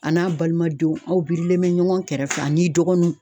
A n'a balimadenw aw birilen bɛ ɲɔgɔn kɛrɛfɛ ani dɔgɔninw.